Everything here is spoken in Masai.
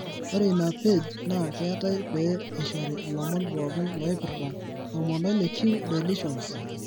Ore ina page naa keetai pee eishoru ilomon pooki loipirta 16q delitions.